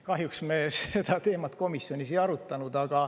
Kahjuks me seda teemat komisjonis ei arutanud.